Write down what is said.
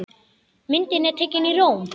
Myndin er tekin í Róm.